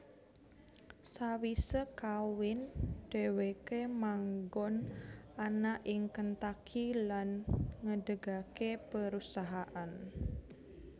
Sawise kawin dheweke manggon ana ing Kentucky lan ngedegake perusahaan